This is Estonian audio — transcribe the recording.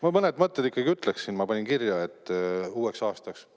Ma mõned mõtted ikkagi ütleksin, ma panin kirja uueks aastaks.